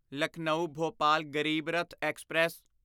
Lucknow Bhopal Garib Rath express